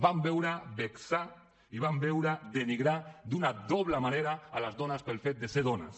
vam veure vexar i vam veure denigrar d’una doble manera les dones pel fet de ser dones